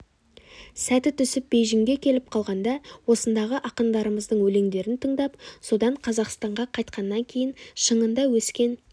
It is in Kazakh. сәті түсіп бейжіңге келіп қалғанда осындағы ақындарымыздың өлеңдерін тыңдап содан қазақстанға қайтқаннан кейін шыңында өскен